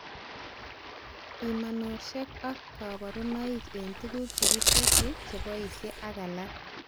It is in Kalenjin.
Bimanoshek ak kabarunoik eng tuguk chekitesyi, cheboishe ak alak